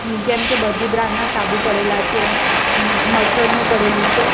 જેમકે બધી બ્રાન્ડ ના સાબુ પડેલા છે મ્-મચ્છરનું પડેલું છે.